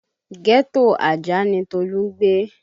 Ghetto Ajah ni Tolu ń gbé